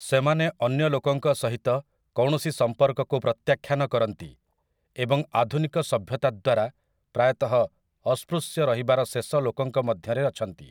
ସେମାନେ ଅନ୍ୟ ଲୋକଙ୍କ ସହିତ କୌଣସି ସମ୍ପର୍କକୁ ପ୍ରତ୍ୟାଖ୍ୟାନ କରନ୍ତି ଏବଂ ଆଧୁନିକ ସଭ୍ୟତା ଦ୍ୱାରା ପ୍ରାୟତଃ ଅସ୍ପୃଶ୍ୟ ରହିବାର ଶେଷ ଲୋକଙ୍କ ମଧ୍ୟରେ ଅଛନ୍ତି ।